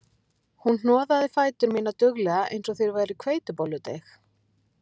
Hún hnoðaði fætur mína duglega eins og þeir væru hveitibolludeig